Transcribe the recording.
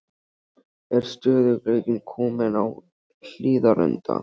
Er stöðugleikinn kominn á Hlíðarenda?